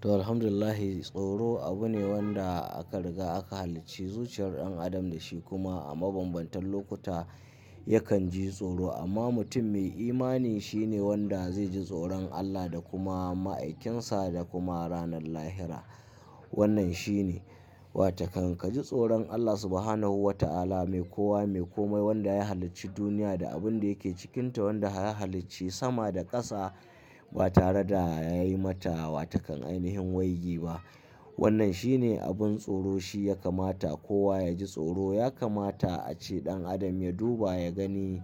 To, Alhamdulillah. Tsoro abu ne wanda aka riga aka halicci zuciyar ɗan adam da shi kuma a mabambantan lokuta yakan ji tsoro. Amma mutum mai imani shine wanda zai ji tsoron Allah da kuma ma'aikinsa da kuma ranar lahira. Wannan shine. Wataƙan ka ji tsoron Allah Subhanahu wa ta'ala, mai kowa mai kome wanda ya halicci duniya da abin da yake cikinta, wanda ya halicci sama da ƙasa ba tare da ya yi mata watakan ainihin wayyi ba. Wannan shine abin tsoro. Shi ya kamata kowa ya ji tsoro. Ya kamata ace ɗan adam ya duba ya gani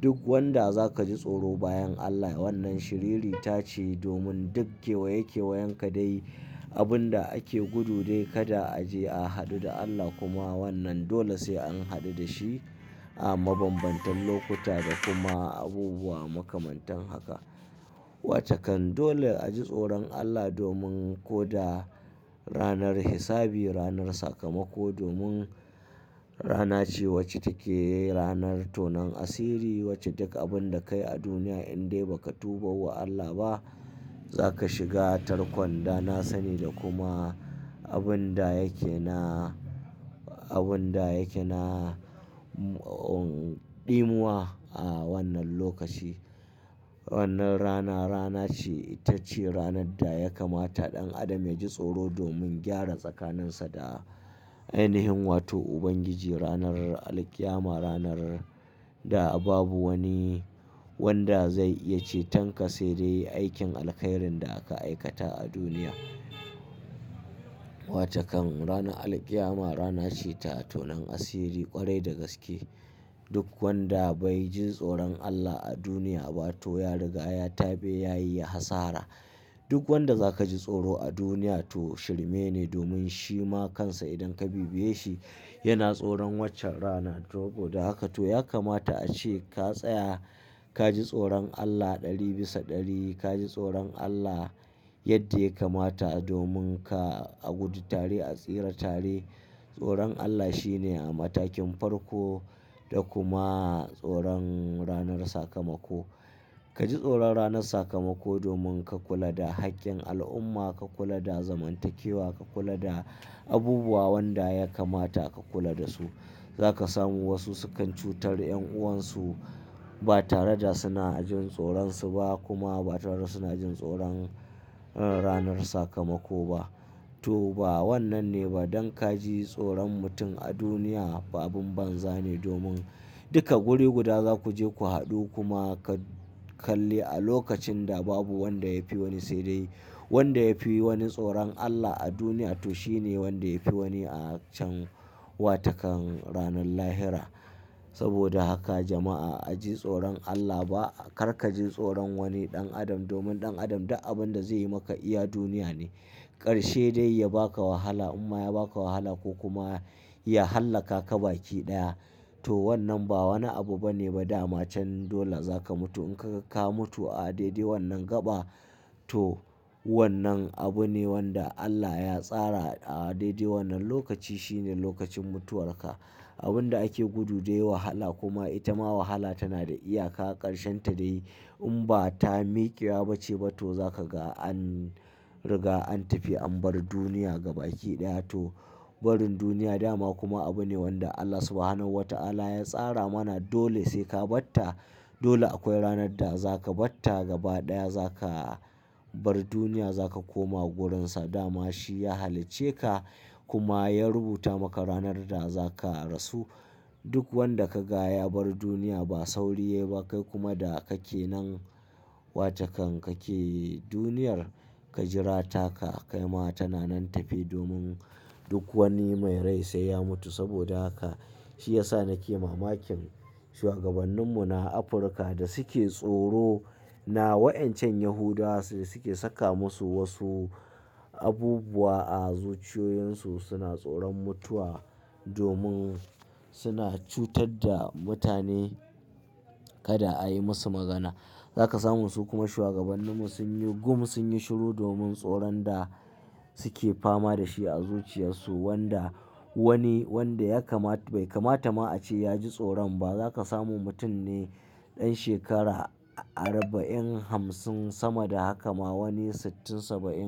duk wanda za ka ji tsoro bayan Allah. Wannan shiriri ta ce domin duk kewaye kewen ka dai abin da ake gudu dai kada a je a haɗu da Allah kuma wannan dole sai an haɗu da shi a mabambantan lokuta da kuma abubuwa makamantan haka. Wataƙan dole a ji tsoron Allah domin ko da ranar hisabi, ranar sakamako, domin rana ce wacce take ranar tonon asiri, wacce duk abin da kai a duniya in dai ba ka tuba wa Allah ba za ka shiga tarkon. Da na sani da kuma abin da yake na, abin da yake na, um, ɗimuwa a wannan lokaci. Wannan rana rana ce ita ce ranar da ya kamata ɗan adam ya ji tsoro domin gyara tsakaninsa da ainihin wato Ubangiji. Ranar alqiyama ranar da babu wani wanda zai iya ce tanka sai dai aikin alkhairin da aka aikata a duniya. Wataƙan rana alqiyama rana ce ta tonon asiri ƙwarai da gaske. Duk wanda bai ji tsoron Allah a duniya ba to ya riga ya tabe ya yi hasara. Duk wanda za ka ji tsoro a duniya to shirme ne domin shi ma kansa idan ka bibiye shi yana tsoron waccan rana. Saboda haka to ya kamata ace ka tsaya ka ji tsoron Allah ɗari bisa ɗari. Ka ji tsoron Allah yadda ya kamata dominka a gudu tare a tsira tare. Tsoron Allah shine a matakin farko da kuma tsoron ranar sakamako. Ka ji tsoron ranar sakamako domin ka kula da haƙƙin al'umma, ka kula da zamantakewa, ka kula da abubuwa wanda ya kamata ka kula da su. Za ka samu wasu sukan cutar ƴan'uwansu ba tare da suna jin tsoron su ba kuma ba tare da suna jin tsoron ranar sakamako ba. To ba wannan ne ba. Dan ka ji tsoron mutum a duniya abin banza ne domin duka guri guda za ku je ku haɗu kuma ka kalli a lokacin da babu wanda ya fi wani sai dai wanda ya fi wani tsoron Allah a duniya to shi ne wanda ya fi wani a can wataƙan ranar lahira. Saboda haka jama'a, a ji tsoron Allah ba kar ka ji tsoron wani ɗan adam domin ɗan adam duk abin da zai yi maka iya duniya ne. Karshe dai ya ba ka wahala imma ya ba ka wahala ko kuma ya hallaka ka baki ɗaya. To wannan ba wani abu bane ba damacen dole za ka mutu. In kaga ka mutu a daidai wannan gaba to wannan abu ne wanda Allah ya tsara a daidai wannan lokaci. Shi ne lokacin mutuwar ka. Abin da ake gudu dai wahala kuma ita ma wahala tana da iyaka ƙarshen ta dai in ba ta miƙewa bace ba to za ka ga an riga an tafi an bar duniya gaba ki ɗaya to barin duniya dama kuma abu ne wanda Allah Subhanahu wa ta'ala ya tsara mana. Dole sai ka bar ta. Dole akwai ranar da za ka bar ta gaba ɗaya za ka bar duniya, za ka koma wurinsa dama shi ya halicce ka kuma ya rubuta maka ranar da za ka rasu. Duk wanda ka ga ya bar duniya ba sauri ba yai kuma da kake nan watakan kake duniyar ka jira taka kai ma tana nan tafi domin duk wani mai rai sai ya mutu. Saboda haka shi ya sa nake mamakin shugabanninmu na Afirka da suke tsoro na wa'incan Yahudawa so suke saka musu wasu abubuwa a zuciyoyinsu. Suna tsoron mutuwa domin suna cutar da mutane kada a yi masu magana. Za ka samu su kuma shugabanninmu sun yi gum, sun yi shiru domin tsoron da suke fama da shi a zuciyarsu wanda wani wanda ya kama bai kamata ma ace ya ji tsoron ba. Za ka samu mutum ne ɗan shekara arba'in, hamsin sama da haka ma wani sittin, saba'in.